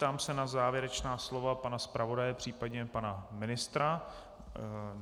Ptám se na závěrečná slova pana zpravodaje, případně pana ministra?